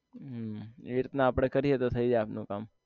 હમ એ રીતના આપને કરીએ તો થયી જાય આપનું કામ